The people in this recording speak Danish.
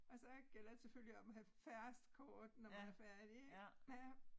Og så gælder det selvfølgelig om at have færrest kort når man er færdig ik ja